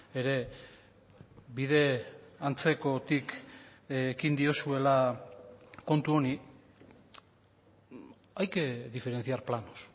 ere bide antzekotik ekin diozuela kontu honi hay que diferenciar planos